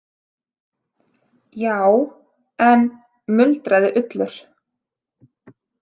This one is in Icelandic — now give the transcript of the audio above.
Já, en, muldraði Ullur.